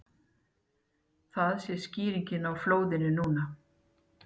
Það sé skýringin á flóðinu nú